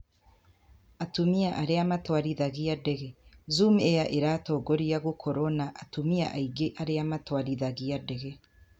Atumia arĩa matwarithagia ndege: Zoom Air ĩratongoria gũkorũo na atumia aingĩ arĩa matwarithagia ndege.